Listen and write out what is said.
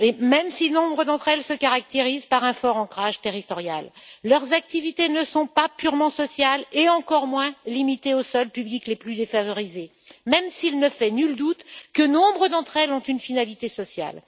Même si nombre d'entre elles se caractérisent par un fort ancrage territorial, leurs activités ne sont pas purement sociales et encore moins limitées aux seuls publics les plus défavorisés, même s'il ne fait nul doute que nombre d'entre elles ont une finalité sociale.